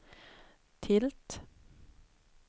tilt